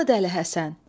Hanı dəli Həsən?